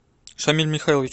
шамиль михайлович